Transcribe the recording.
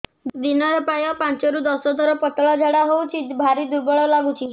ଦିନରେ ପ୍ରାୟ ପାଞ୍ଚରୁ ଦଶ ଥର ପତଳା ଝାଡା ହଉଚି ଭାରି ଦୁର୍ବଳ ଲାଗୁଚି